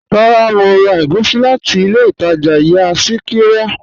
Rárá, Mo rà ègúsì láti ilẹ̀ Ìtaja ìyà Sikira.